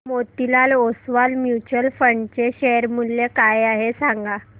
Motilal Oswal mutual fund चे share मूल्य काय आहे सांगा